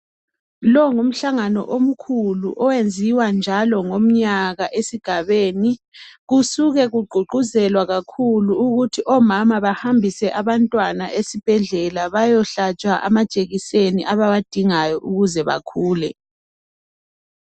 Lo ngumhlangano omkhulu oyenziwa njalo njalo ngomnyaka esigabeni. Kusuke kugqugquzelwa kakhulu ukuthi omama bahambise abantwana esibhedlela bayohlatshwa amajekiseni abawadingayo ukuze bakhule.